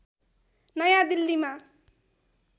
नयाँ दिल्लीमा